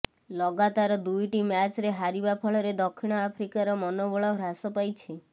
ଲଗାତାର ଦୁଇଟି ମ୍ୟାଚ୍ରେ ହାରିବା ଫଳରେ ଦକ୍ଷିଣ ଆଫ୍ରିକାର ମନୋବଳ ହ୍ରାସ ପାଇଛି